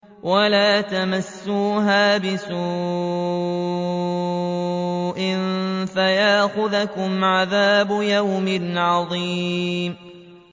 وَلَا تَمَسُّوهَا بِسُوءٍ فَيَأْخُذَكُمْ عَذَابُ يَوْمٍ عَظِيمٍ